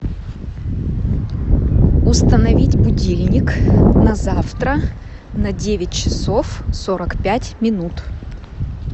установить будильник на завтра на девять часов сорок пять минут